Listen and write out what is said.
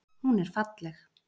Hún er falleg.